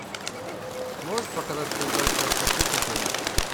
можешь показать передачу авто плюс на тв